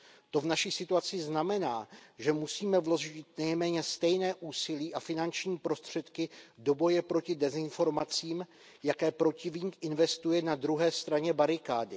To v naší situaci znamená, že musíme vložit nejméně stejné úsilí a finanční prostředky do boje proti dezinformacím, jaké protivník investuje na druhé straně barikády.